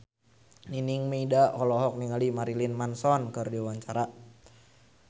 Nining Meida olohok ningali Marilyn Manson keur diwawancara